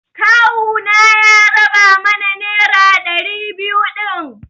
Kawuna ya raba mana nera ɗari biyu din.